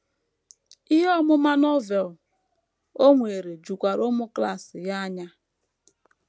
Ihe ọmụma Novel o nwere jukwara ụmụ klas ya anya.